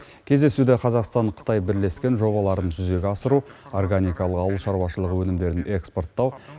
кездесуде қазақстан қытай бірлескен жобаларын жүзеге асыру органикалық ауыл шаруашылығы өнімдерін экспорттау